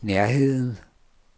nærheden